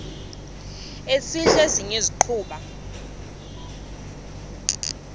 esidl eziny iziguqa